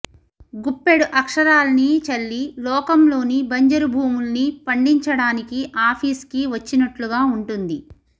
గుప్పెడు అక్షరాల్ని చల్లి లోకంలోని బంజరుభూముల్ని పండించడానికి ఆఫీస్కి వచ్చినట్లుగా ఉంటుంది